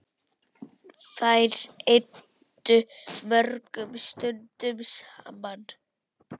Þær eyddu mörgum stundum saman.